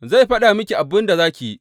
Zai faɗa miki abin da za ki yi.